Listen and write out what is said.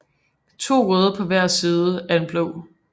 To røde på hver side af en blå